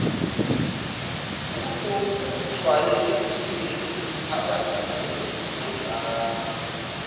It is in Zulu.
kunokujwayelekile iziphakamiso zizondlalwa